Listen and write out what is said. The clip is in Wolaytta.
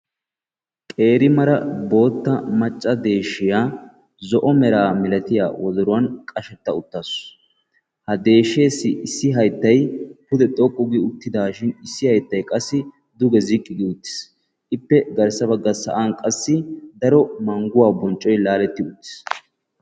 qeeri macca bootta deeshshiyaa zo'o meraa milatiyaa wodruwaan qashshetta uttaasu. ha deeshshessi issi hayttay pude xoqqu gi uttidaashin issi hayttay duge ziqqi gi uttis duge sa'an qassi daro mangguwaa bonccoy laaletti uttiis.